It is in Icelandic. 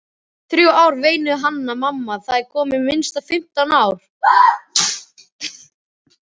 Þrjú ár, veinaði Hanna-Mamma, það eru komin minnst fimmtán ár.